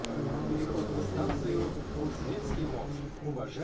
वहाँ उसे सूरत में अंग्रेज कोठी खोलने की अनुमति मिली